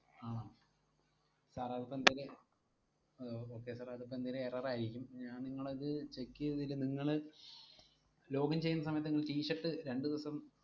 ആഹ് sir അതിപ്പെന്തേലും അഹ് okay sir അതിപ്പെന്തേലും error ആയിരിക്കും, ഞാൻ നിങ്ങളത് check ചെയ്തേല് നിങ്ങള് login ചെയ്യുന്ന സമയത്തു നിങ്ങള് t-shirt രണ്ടു ദിവസം